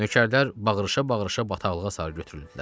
Nökərlər bağrışa-bağrışa bataqlığa sarı götürüldülər.